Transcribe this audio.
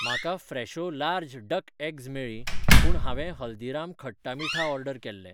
म्हाका Fresho large duck eggs मेळ्ळीं पूण हांवें हल्दीराम खट्टा मीठा ऑर्डर केल्लें.